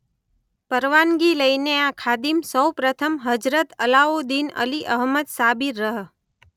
પરવાનગી લઈને આ ખાદિમ સૌપ્રથમ હઝરત અલાઉદ્દીન અલી અહમદ સાબિર રહ.